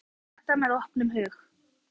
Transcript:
Maður skoðar þetta með opnum hug.